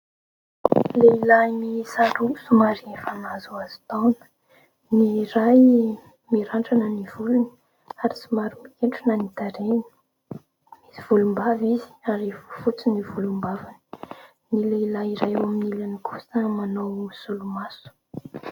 Lehilahy miisa roa somary efa nahazoazo taona : ny iray mirandrana ny volony ary somary mikentrona ny tarehiny, misy volombava izy ary efa fotsy ny volombavany ; ny lehilahy iray eo amin'ny ilany kosa manao solomaso.